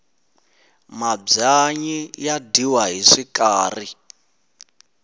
mabyanyi ya dyiwa hi swikari